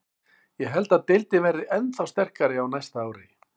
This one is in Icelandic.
Ég held að deildin verði ennþá sterkari á næsta ári.